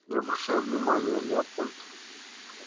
не обращай внимания леопольд